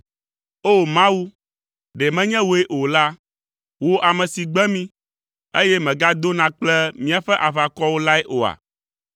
O! Mawu, ɖe menye wòe o la, wò ame si gbe mí, eye mègadona kple míaƒe aʋakɔwo lae oa?